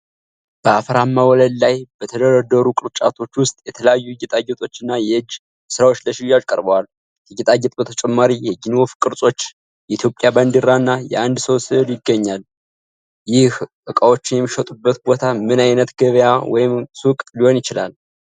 በአፈርማ ወለል ላይ በተደረደሩ ቅርጫቶች ውስጥ የተለያዩ ጌጣጌጦችና የእጅ ሥራዎች ለሽያጭ ቀርበዋል። ከጌጣጌጥ በተጨማሪ የጊኒ ወፍ ቅርጾች፣ የኢትዮጵያ ባንዲራ እና የአንድ ሰው ሥዕሎች ይገኛሉ። ይህ ዕቃዎች የሚሸጡበት ቦታ ምን ዓይነት ገበያ ወይም ሱቅ ሊሆን ይችላል?